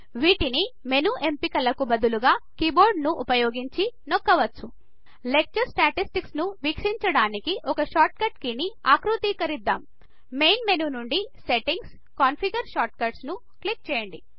వాటిని మెను ఎంపికలకు బదులుగా కీబోర్డ్ను ఉపయోగించి నొక్కవచ్చు లెక్చర్ స్టాటిస్టిక్స్ ను వీక్షించడానికి ఒక షార్ట్ కట్ కీ ని ఆకృతీకరిద్దాం మెయిన్ మెను నుండి సెట్టింగ్స్ కన్ఫిగర్ షార్ట్ కట్స్ ను క్లిక్ చేయండి